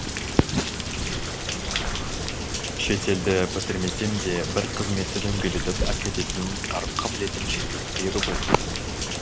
шетелді бітірмесем де бір қызметті дөңгелетіп әкететін қарым қабілетім жеткілікті еді ғой